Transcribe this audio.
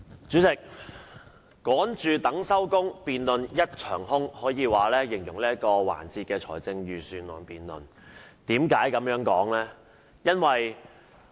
主席，"趕住等收工，辯論一場空"可謂最能形容這一節財政預算案辯論，為何我這樣說呢？